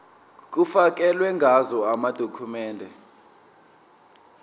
kufakelwe ngazo amadokhumende